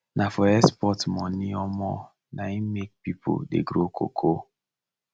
na for export money um na im make people dey grow cocoa